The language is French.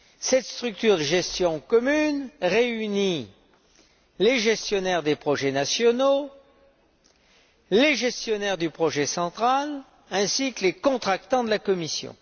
Cette structure de gestion commune réunit les gestionnaires des projets nationaux, les gestionnaires du projet central ainsi que les contractants de la Commission.